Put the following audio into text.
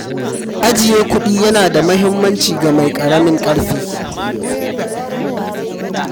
Ajiye kuɗi ya na da muhimmanci ga mai ƙaramin ƙarfi